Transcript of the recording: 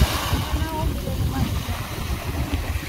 Gĩa na ũmĩrĩru mahinda mothe